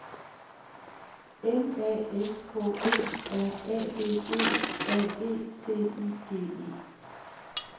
M A S K E R A D E A G T I G E